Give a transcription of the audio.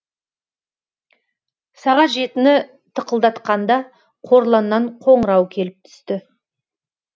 сағат жетіні тықылдатқанда қорланнан қоңырау келіп түсті